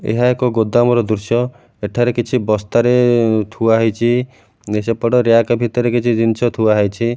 ଏହା ଏକ ଗୋଦାମ ର ଦୃଶ୍ୟ ଏଠାରେ କିଛି ବସ୍ତାରେ ଥୁଆହେଇଚି ସେପଟେ ରିୟାକ ଭିତରେ କିଛି ଜିନିଷ ଥୁଆହୋଇଛି।